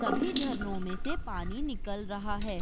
सभी झरनो में से पानी निकल रहा हैं।